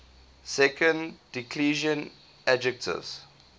second declension adjectives